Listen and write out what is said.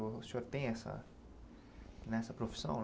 O senhor tem essa nessa profissão?